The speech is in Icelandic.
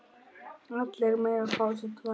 Allir mega fá sér tvær.